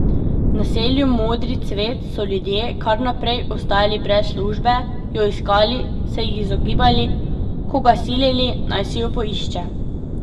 V naselju Modri cvet so ljudje kar naprej ostajali brez službe, jo iskali, se ji izogibali, koga silili, naj si jo poišče.